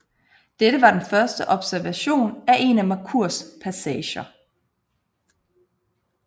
Dette var den første observation af en af Merkurs passager